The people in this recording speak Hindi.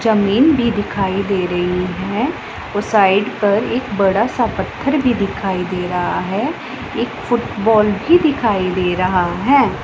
जमीन भी दिखाई दे रही है और साइड पर एक बड़ा सा पत्थर भी दिखाई दे रहा है एक फुटबॉल भी दिखाई दे रहा है।